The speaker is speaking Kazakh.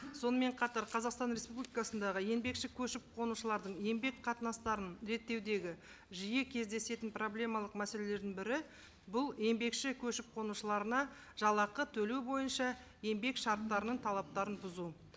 сонымен қатар қазақстан республикасындағы еңбекші көшіп қонушылардың еңбек қатынастарын реттеудегі жиі кездесетін проблемалық мәселелердің бірі бұл еңбекші көшіп қонушыларына жалақы төлеу бойынша еңбек шарттарының талаптарын бұзу